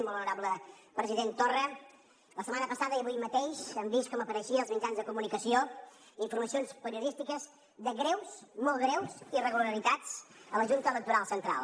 molt honorable president torra la setmana passada i avui mateix hem vist com apareixien als mitjans de comunicació informacions periodístiques de greus molt greus irregularitats a la junta electoral central